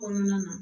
Kɔnɔna na